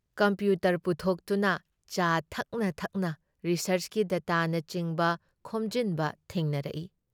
Computer ꯄꯨꯊꯣꯛꯗꯨꯅ ꯆꯥ ꯊꯛꯅ ꯊꯛꯅ ꯔꯤꯁꯥꯔꯆꯀꯤ ꯗꯇꯥꯅꯆꯤꯡꯕ ꯈꯣꯝꯖꯤꯟꯕ ꯊꯦꯡꯅꯔꯛꯏ ꯫